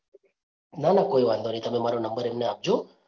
ના ના કોઈ વાંધો નહીં તમે મારો નંબર એમને આપજો.